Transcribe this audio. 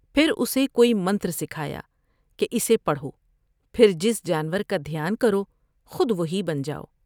پھر اسے کوئی منتر سکھایا کہ اسے پڑھو پھر جس جانور کا دھیان کرو خود وہی بن جاؤ ۔